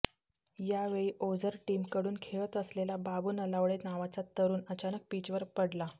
यावेळी ओझर टीमकडून खेळत असलेला बाबू नलावडे नावाचा तरुण अचानक पिचवर पडला